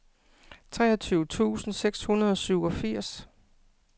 treogtyve tusind seks hundrede og syvogfirs